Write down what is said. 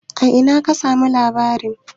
A ina ka samu labari?